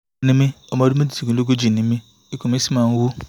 ni mí ọmọ ọdún méjìdínlógójì ni mí ikun mi sì máa ń wú